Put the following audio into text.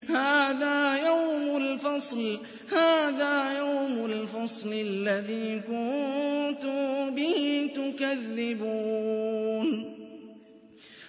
هَٰذَا يَوْمُ الْفَصْلِ الَّذِي كُنتُم بِهِ تُكَذِّبُونَ